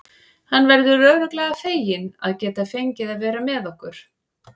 Hann verður örugglega feginn að geta fengið að vera með okkur.